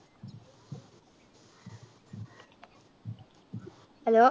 hello